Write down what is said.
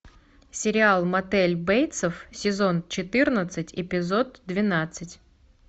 сериал мотель бейтсов сезон четырнадцать эпизод двенадцать